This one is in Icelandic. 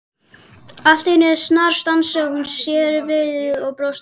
Allt í einu snarstansaði hún, snéri sér við og brosti.